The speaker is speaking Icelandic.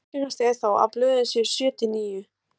Algengast er þó að blöðin séu sjö til níu.